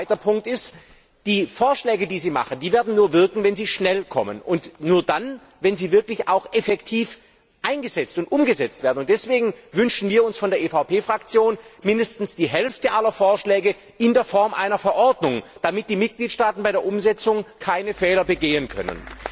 Ein zweiter Punkt ist Die Vorschläge, die Sie machen, werden nur wirken, wenn sie schnell kommen, und nur dann, wenn sie wirklich auch effektiv eingesetzt und umgesetzt werden. Deswegen wünschen wir von der EVP Fraktion uns mindestens die Hälfte aller Vorschläge in der Form einer Verordnung, damit die Mitgliedstaaten bei der Umsetzung keine Fehler begehen können.